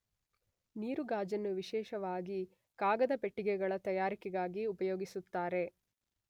ನೀರುಗಾಜನ್ನು ವಿಶೇಷವಾಗಿ ಕಾಗದಪೆಟ್ಟಿಗೆಗಳ ತಯಾರಿಕೆಗೆ ಉಪಯೋಗಿಸುತ್ತಾರೆ.